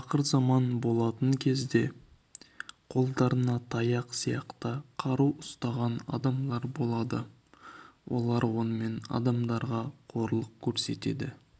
ақырзаман болатын кезде қолдарына таяқ сияқты қару ұстаған адамдар болады олар онымен адамдарға қорлық көрсетеді